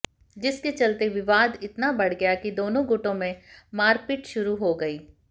जिसके चलते विवाद इतना बढ़ गया कि दोनों गुटों में मारपीट शुरू हो गयी